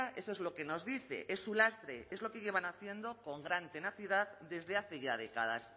eso es lo que nos dice es su lastre es lo que llevan haciendo con gran tenacidad desde hace ya décadas